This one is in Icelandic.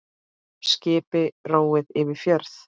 Skipi róið yfir fjörð.